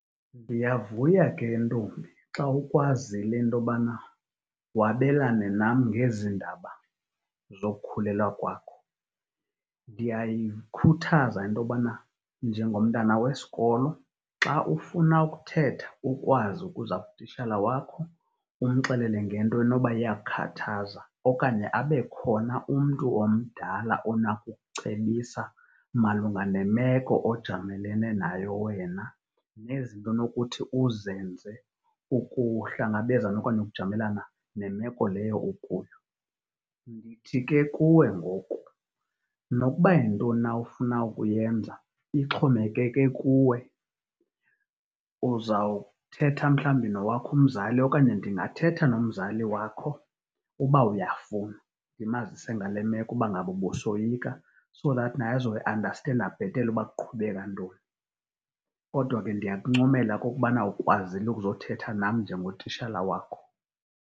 Ndiyavuya ke ntombi xa ukwazile into obana wabelane nam ngezi ndaba zokukhulelwa kwakho. Ndiyayikhuthaza into obana njengomntana wesikolo xa ufuna ukuthetha ukwazi ukuza kutishala wakho umxelele ngento enoba iyakukhathaza. Okanye abe khona umntu omdala onako ukucebisa malunga nemeko ojamelene nayo wena nezinto onokuthi uzenze ukuhlangabezana okanye ukujamelana nemeko leyo ukuyo. Ndithi ke kuwe ngoku, nokuba yintoni na ofuna ukuyenza ixhomekeke kuwe, uzawuthetha mhlawumbi nowakho umzali okanye ndingathetha nomzali wakho uba uyafuna, ndimazise ngale meko uba ngaba ubusoyika. So that that naye azoyiandastenda bhetele uba kuqhubeka ntoni. Kodwa ke ndiyakuncomela okokubana ukwazile ukuzothetha nam njengotishala wakho.